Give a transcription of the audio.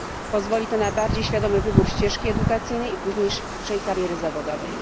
Pozwoli to na bardziej świadomy wybór ścieżki edukacyjnej i późniejszej kariery zawodowej.